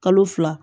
Kalo fila